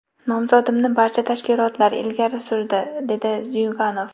Nomzodimni barcha tashkilotlar ilgari surdi”, dedi Zyuganov.